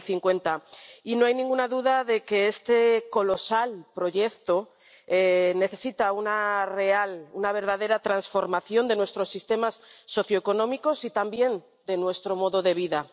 2050. Y no hay ninguna duda de que este colosal proyecto necesita una real, una verdadera transformación de nuestros sistemas socioeconómicos, y también de nuestro modo de vida.